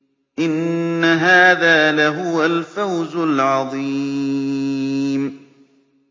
إِنَّ هَٰذَا لَهُوَ الْفَوْزُ الْعَظِيمُ